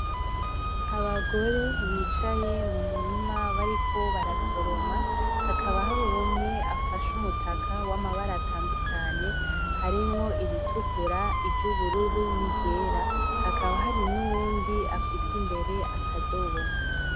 Abagore bicaye mu murima bariko barasoroma hakaba hari umwe afashe umutaka w'amabara atandukanye harimwo iritukura , iry'ubururu n'iryera hakaba hari n'uwundi afise imbere akadobo